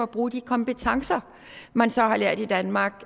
bruger de kompetencer man så har lært i danmark